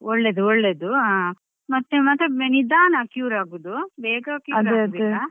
ಒಳ್ಳೇದು ಒಳ್ಳೇದು ಆ ಮತ್ತೆ ನಿಧಾನ cure ಆಗುದು ಬೇಗ cure ಆಗುದಿಲ್ಲ.